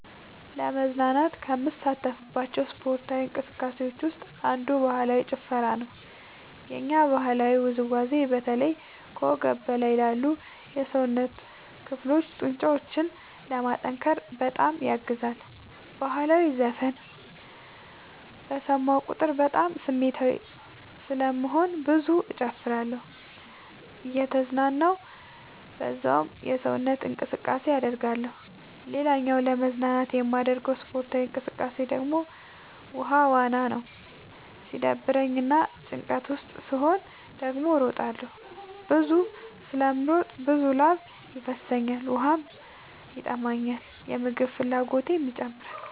ለመዝናናት ከምሳተፍባቸው ስፓርታዊ እንቅስቃሴዎች ውስጥ አንዱ ባህላዊ ጭፈራ ነው። የኛ ባህላዊ ውዝዋዜ በተለይ ከወገብ በላይ ላሉ የሰውነት ክፍሎ ጡንቻዎችን ለማጠንከር በጣም ያግዛል። በህላዊ ዘፈን በሰማሁ ቁጥር በጣም ስሜታዊ ስለምሆን ብዙ እጨፍራለሁ እየተዝናናሁ በዛውም ሰውነት እንቅስቃሴ አደርጋለሁ። ሌላኛው ለመዝናናት የማደርገው ስፖርታዊ እንቅቃሴ ደግሞ ውሃ ዋና ነው። ሲደብረኝ እና ጭንቀት ውስጥ ስሆን ደግሞ እሮጣለሁ። ብዙ ስለምሮጥ ብዙ ላብ ይፈሰኛል ውሃም ይጠማኛል የምግብ ፍላጎቴም ይጨምራል።